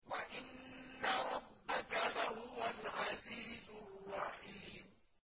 وَإِنَّ رَبَّكَ لَهُوَ الْعَزِيزُ الرَّحِيمُ